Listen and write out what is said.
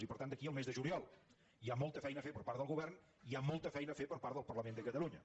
i per tant d’aquí al mes de juliol hi ha molta feina a fer per part del govern hi ha molta feina a fer per part del parlament de catalunya